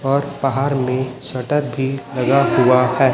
और पहार में शटर भी लगा हुआ है।